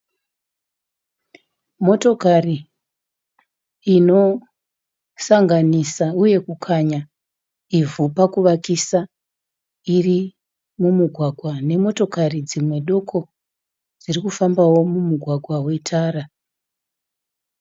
Motokari inosanganisa uye pakukanya ivhu pakuvakisa iri mumugwagwa, uye dzimwe motokari dzimwe doko dziri kufambawo mumugwagwa wetara.